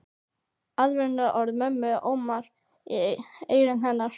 Aðvörunarorð mömmu óma í eyrum hennar.